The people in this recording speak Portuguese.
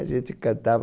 A gente cantava...